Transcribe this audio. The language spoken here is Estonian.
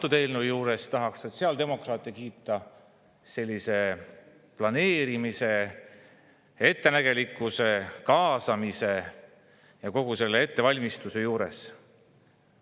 Selle eelnõu puhul tahaks sotsiaaldemokraate kiita planeerimise, ettenägelikkuse, kaasamise ja kogu selle ettevalmistuse eest.